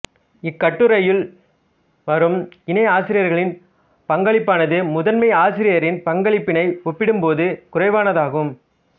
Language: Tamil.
இக்கட்டுரையில் வரும் இணை ஆசிரியர்களின் பங்களிப்பானது முதன்மை ஆசிரியரின் பங்களிப்பினை ஒப்பிடும் போது குறைவானதாகும்